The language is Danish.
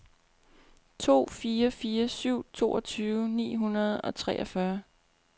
to fire fire syv toogtyve ni hundrede og treogfyrre